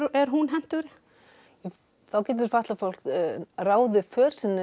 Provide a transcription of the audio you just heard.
er hún hentugri þá getur fólk ráðið för sinni